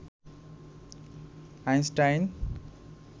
Einstein